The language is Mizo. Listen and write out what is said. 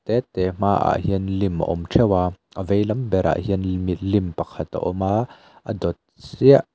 te te hmaah hian lim a awm theuh a a vei lam berah hian limilim pakhat a awm a a dawt chiah--